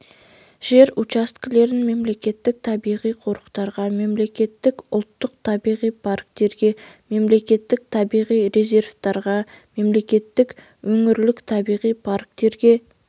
жер учаскелерін мемлекеттік табиғи қорықтарға мемлекеттік ұлттық табиғи парктерге мемлекеттік табиғи резерваттарға мемлекеттік өңірлік табиғи парктерге